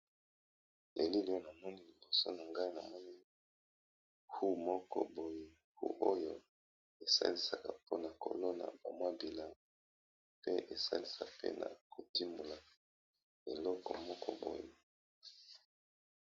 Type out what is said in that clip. Awa na moni liboso no ngai na moneni hu moko boye hu oyo esalisaka mpona kolona bamwa bilano pe esalisa pe na kotimola eloko moko boye.